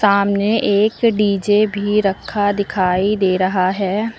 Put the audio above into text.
सामने एक डी_जे भी रखा दिखाई दे रहा है।